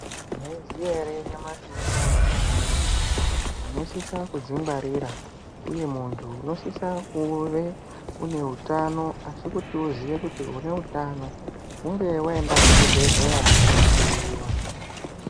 Mwaiziya ere nyamashi uno kuti muntu unosisa kudzingwarira uye muntu unosise kuve une utano asi kuti uziye kuti une utano hunge waenda kuchibhehleya kunohloyiwa.